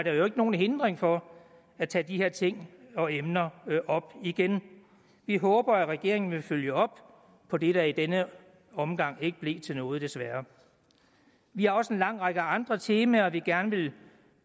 jo ikke nogen hindring for at tage de her ting og emner op igen vi håber at regeringen vil følge op på det der i denne omgang ikke blev til noget desværre vi har også en lang række andre temaer vi gerne vil